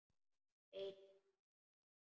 Einn í húsinu.